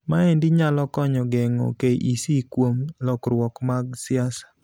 Maendi nyalo konyo geng'o KEC kuom lokruok mag siasa.